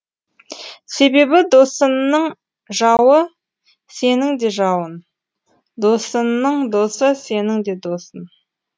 себебі досыңның жауы сенің де жауың досыңның досы сенің де досың